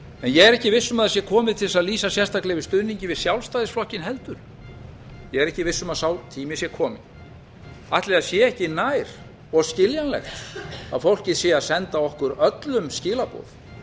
ég er ekki viss um að það sé komið til þess að lýsa sérstaklega yfir stuðningi við sjálfstæðisflokkinn heldur ég er ekki viss um að sá tími sé kominn ætli það sé ekki nær og skiljanlegt að fólkið sé að senda okkur öllum skilaboð